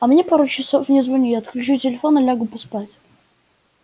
а мне пару часов не звони я отключу телефон и лягу поспать